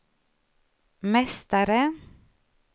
mästare